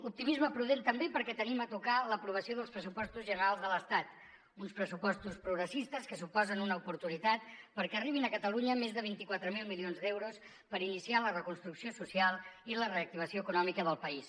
optimisme prudent també perquè tenim a tocar l’aprovació dels pressupostos generals de l’estat uns pressupostos progressistes que suposen una oportunitat perquè arribin a catalunya més de vint quatre mil milions d’euros per iniciar la reconstrucció social i la reactivació econòmica del país